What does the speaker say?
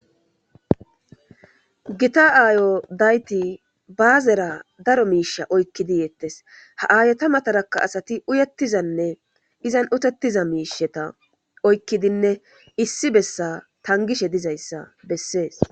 Gita aayo dayti baazera daro miisha oykkidi yeettes haaayota matarakka asati uyettizanne izan utettiza miisheta oykkidinne issi bessa tangishe dizayssa bessees.